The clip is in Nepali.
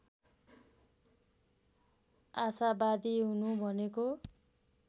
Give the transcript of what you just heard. आसावादी हुनु भनेको